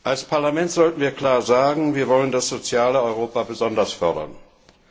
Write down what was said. Als Parlament sollten wir klar sagen, dass wir das soziale Europa besonders fördern wollen.